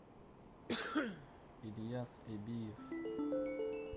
ильяс эбиев